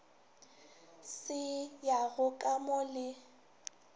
se yago ka mo le